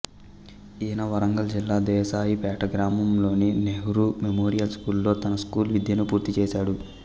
ఈయన వరంగల్ జిల్లా దేశాయిపేట గ్రామంలోని నెహ్రూ మెమోరియల్ స్కూల్ లో తన స్కూల్ విద్యను పూర్తిచేశాడు